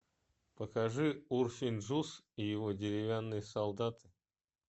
покажи урфин джюс и его деревянные солдаты